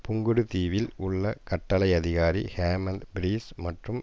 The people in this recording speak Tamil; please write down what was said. புங்குடு தீவில் உள்ள கட்டளை அதிகாரி ஹேமந்த பிரீஸ் மற்றும்